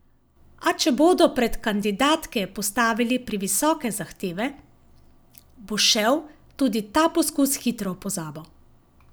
A če bodo pred kandidatke postavili previsoke zahteve, bo šel tudi ta poskus hitro v pozabo.